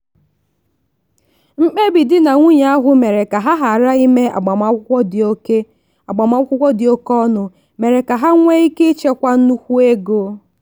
mkpebi di na nwunye ahụ mere ka ha ghara ime agbamakwụkwọ dị oke agbamakwụkwọ dị oke ọnụ mere ka ha nwee ike ịchekwa nnukwu ego.